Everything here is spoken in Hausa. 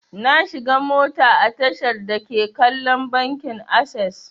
Na shiga mota a tashar dake kallon bankin akses.